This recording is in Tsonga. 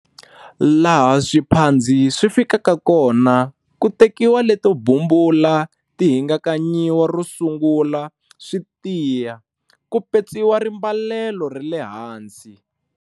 Laha swiphandzi swi fikaka kona ku tekiwa leto bumbula ti hingakanyiwa ro sungula swi tiya, ku petsiwa rimbalelo ra le hansi.